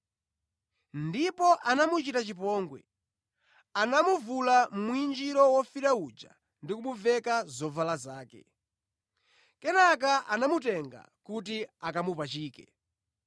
Ndipo anamuchita chipongwe, anamuvula mwinjiro wofiira uja ndi kumuveka zovala zake. Kenaka anamutenga kuti akamupachike.